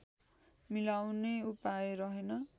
मिलाउने उपाय रहेन